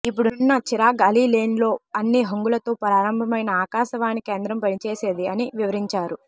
ఇప్పుడున్న చిరాగ్ అలీ లేన్లో అన్ని హంగులతో ప్రారంభమైన ఆకాశవాణి కేంద్రం పనిచేసేది అని వివరించారు